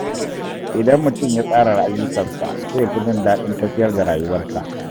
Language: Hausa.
Idan mutum ya tsara ayyukansa, zai fi jin daɗin tafiyar da rayuwarsa.